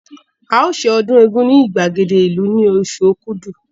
A o se ọdún égún ní ìgbàgede ìlú ní oṣù Okúdù